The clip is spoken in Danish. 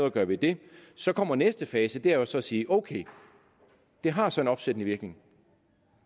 at gøre ved det så kommer næste fase det er jo så at sige okay det har så en opsættende virkning